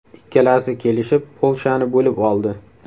Ikkalasi kelishib, Polshani bo‘lib oldi.